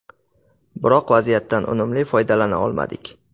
Biroq vaziyatlardan unumli foydalana olmadik.